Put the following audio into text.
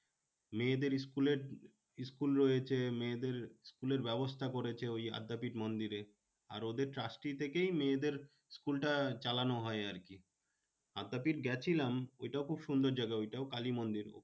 মেয়েদের school এর school রয়েছে মেয়েদের school এর ব্যবস্থা করেছে ওই আদ্যাপীঠ মন্দিরে। আর ওদের trusty থেকেই মেয়েদের school টা চালানো হয় আরকি। আদ্যাপীঠ গেছিলাম ঐটাও খুব সুন্দর জায়গা ঐটাও কালী মন্দির।